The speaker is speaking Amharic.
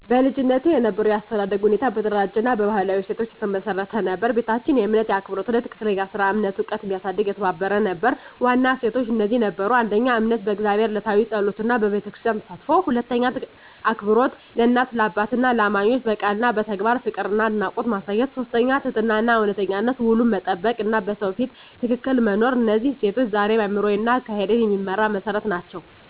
በልጅነቴ የነበረው የአስተዳደግ ሁኔታ በተደራጀ እና በባህላዊ እሴቶች የተመሰረተ ነበር። ቤታችን የእምነት፣ የአክብሮት እና የትክክለኛ ሥራ እምነት ዕውቀት እንዲያሳድግ የተባበረ ነበር። ዋና እሴቶች እነዚህ ነበሩ: 1. እምነት በእግዚአብሔር፣ የዕለታዊ ጸሎት እና በቤተክርስቲያን ተሳትፎ። 2. አክብሮት ለእናት፣ ለአባትና ለእማኞች፣ በቃል እና በተግባር ፍቅርና አድናቆት ማሳየት። 3. ትህትናና እውነተኝነት፣ ውሉን መጠበቅ እና በሰው ፊት ትክክል መኖር። እነዚህ እሴቶች ዛሬም አእምሮዬን እና አካሄዴን የሚመራ መሠረት ናቸው።